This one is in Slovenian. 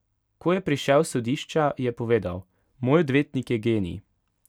Ko je prišel s sodišča, je povedal: 'Moj odvetnik je genij.